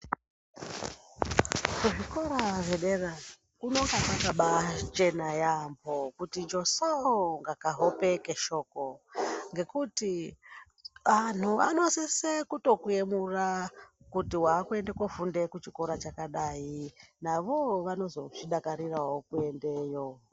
Kuzvikora zvedera kunonga kwakabachena yaambo, kuti joso kunga kahope keshoko. Ngekuti antu anosise kutokuemura kuti vakuende kofunda kuchikora chakadai, navovo vanozozvidakariravo kuendeyo.